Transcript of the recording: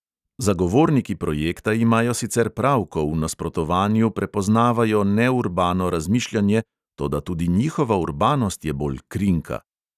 Zagovorniki projekta imajo sicer prav, ko v nasprotovanju prepoznavajo neurbano razmišljanje, toda tudi njihova urbanost je bolj krinka.